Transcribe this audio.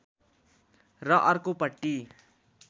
र अर्को पटि